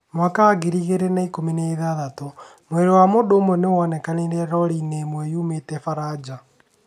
2016: Mwĩrĩ wa mũndũ ũmwe nĩ wonekire rori-inĩ ĩmwe yoimĩĩte Faranja.